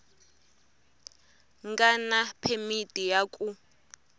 nga na phemiti ya ku